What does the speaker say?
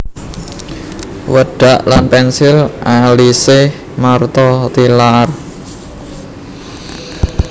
Wedak lan pensil alise Martha Tilaar